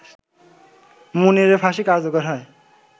মুনিরের ফাঁসি কার্যকর হয়